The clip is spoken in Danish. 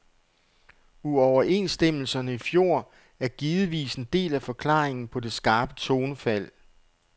Uoverenstemmelserne i fjor er givetvis en del af forklaringen på det skarpe tonefald.